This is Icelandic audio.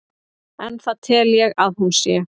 en það tel ég að hún sé.